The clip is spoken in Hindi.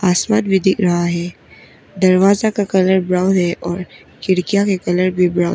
आस्मां भी दिख रहा है दरवाजा का कलर ब्राउन है और खिड़कियाँ का कलर भी ब्राउन --